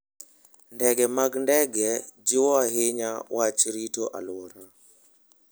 Ndege mag ndege jiwo ahinya wach rito alwora.